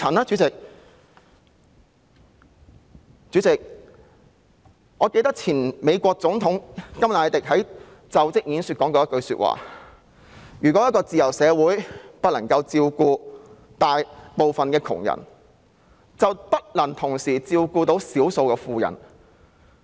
主席，記得美國前總統甘迺迪曾在其就職演說中說出以下一句話：如果一個自由社會不能照顧大部分窮人，便不能同時照顧少數富人。